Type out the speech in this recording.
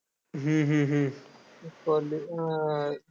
हम्म हम्म हम्म college अं